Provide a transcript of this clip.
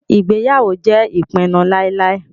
Ìgbéyàwó jẹ́ ìpinu láíláí.